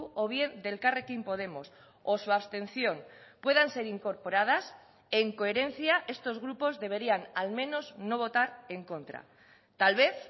o bien de elkarrekin podemos o su abstención puedan ser incorporadas en coherencia estos grupos deberían al menos no votar en contra tal vez